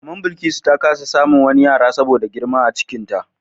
Mama Bilkisu ta kasa samun wani yara saboda girma a cikinta.